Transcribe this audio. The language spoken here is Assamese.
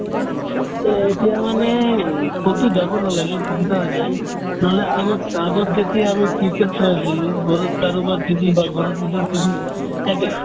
এই এতিয়া মানে উম কতো যাব নালাগে সুবিধা হৈ যায় নহ'লে আগত আগত যেতিয়া আমি cricket চাই আছিলো ঘৰত কাৰোবাৰ TV বা ঘৰত নিজৰ TV থাকে